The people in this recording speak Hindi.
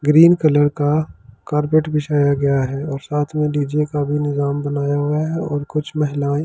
ग्रीन कलर का कार्पेट बिछाया गया है और साथ में डीजे का भी निजाम बनाया हुआ है और कुछ महिलाएं।